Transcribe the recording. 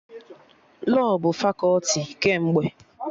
Lọọ bụ fakọti kemgbe